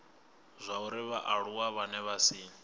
zwauri vhaaluwa vhane vha si